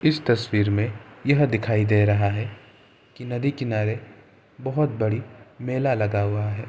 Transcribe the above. इस तस्वीर में यह दिखाई दे रहा है की नदी किनारे बहुत बड़ी मेला लगा हुआ है।